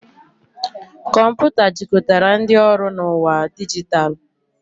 Kọmputa jikọtara ndị ọrụ na ụwa dijitalụ.